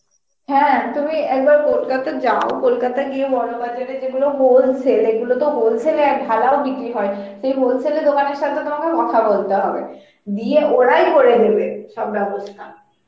হ্যাঁ তুমি একবার Kolkata যাও, কলকাতা গিয়ে বড়বাজার এ যেগুলো wholesale, এগুলো তো wholesale এ ঢালাও বিক্রি হয়, সেই wholesale এর দোকানের সথে তোমাকে কথা বলতে হবে দিয়ে ওরাই করে দেবে সব ব্যবস্থা